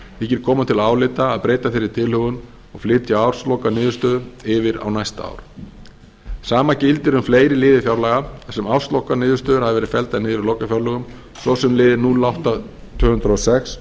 þykir koma til álita að breyta þeirri tilhögun og flytja árslokastöðu þeirra yfir á næsta ár sama gildir um fleiri liði fjárlaga þar sem árslokastöður hafa verið felldar niður í lokafjárlögum svo sem liðinn núll átta til tvö hundruð og sex